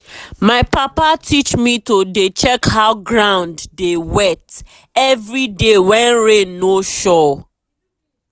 my papa teach me to dey check how ground dey wet every day when rain no sure.